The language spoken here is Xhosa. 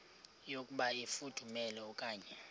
yokuba ifudumele okanye